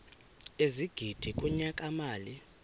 ezigidi kunyaka mali